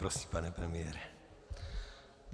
Prosím, pane premiére.